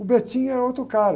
O era outro cara.